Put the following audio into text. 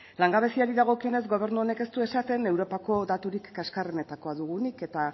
langabeziari dagokionez gobernu honek ez du esaten europako daturik kaskarrenetakoa dugunik eta